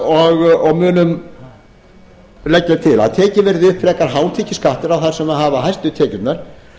leggja til að tekinn verði upp frekar hátekjuskattur á þá sem hafa hæstu tekjurnar